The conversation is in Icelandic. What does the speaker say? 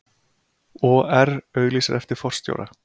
OR auglýsir eftir forstjóra